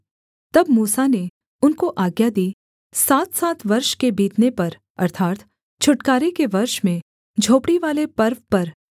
तब मूसा ने उनको आज्ञा दी सातसात वर्ष के बीतने पर अर्थात् छुटकारे के वर्ष में झोपड़ीवाले पर्व पर